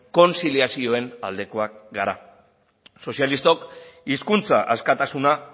kontziliazioen aldekoak gara sozialistok hizkuntza askatasuna